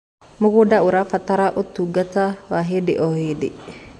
Mũgũnda ũrabatara ũtũngata wa hĩndĩ o hĩndĩ